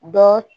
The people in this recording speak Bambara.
Dɔ